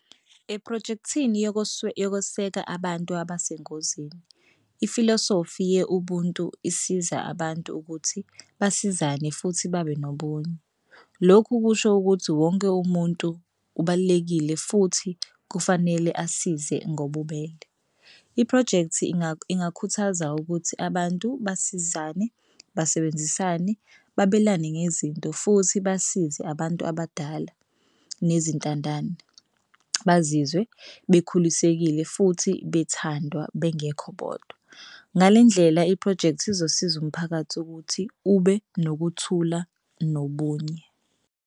Ephrojekthini yokoseka abantu abesengozini ifilosofi ye-ubuntu isiza abantu ukuthi basizane futhi babe nobunye. Lokhu kusho ukuthi wonke umuntu ubalulekile futhi kufanele asize ngobubele. Iphrojekthi ingakhuthaza ukuthi abantu basizane basebenzisane babelane ngezinto futhi basize abantu abadala nezintandane bazizwe bekhulile esekile futhi bethandwa bengekho bodwa. Ngale ndlela iphrojekthi izosiza umphakathi ukuthi ube nokuthula nobunye.